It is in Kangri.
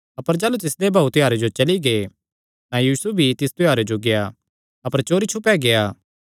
अपर जाह़लू तिसदे भाऊ त्योहारे जो चली गै तां यीशु भी तिस त्योहारे जो गेआ अपर चोरी छुपे गेआ